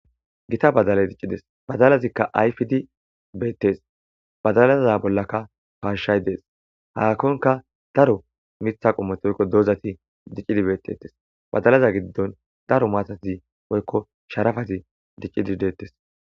gita badale diccides badalazikka ayfidi beettes bazalaza bollakka baashshay dees hakkonka daro mitha qommetoykko doozati diccidi beettetes bazalaza giddon daro maatai poykko sharafazi diccidideettes